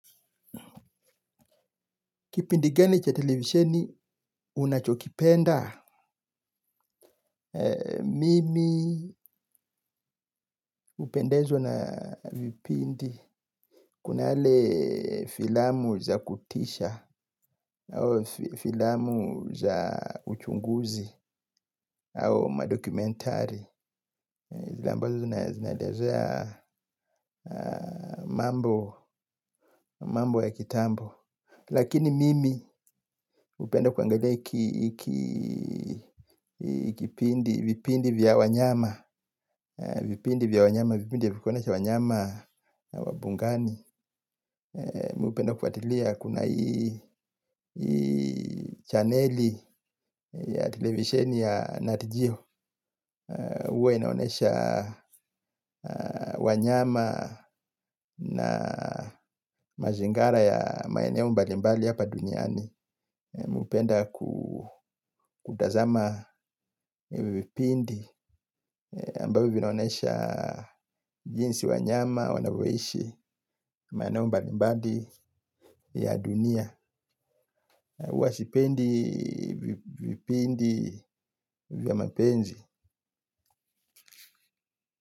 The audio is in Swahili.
Kipindi gani cha televisheni, unachokipenda. Mimi hupendezwa na vipindi. Kuna yale filamu za kutisha, au filamu za uchunguzi, au madokumentari. Zile ambazo na zinaelezea mambo, mambo ya kitambo. Lakini mimi hupenda kuangalia ki, kipindi vipindi vya wanyama. Vipindi vya wanyama, vipindi ya kuonyesha wanyama wa mbugani. Mimi hupenda kufuatilia kuna hii chaneli ya televisheni ya nat geo huwa inaonyesha wanyama na mazingara ya maeneo mbalimbali hapa duniani. Mimi hupenda kutazama vipindi ambayo vinaonyesha jinsi wanyama wanavyoishi maenei mbalimbali ya dunia huwa sipendi vipindi vya mapenzi.